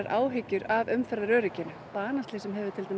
áhyggjur af umferðaröryggi banaslysin